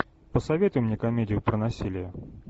посоветуй мне комедию про насилие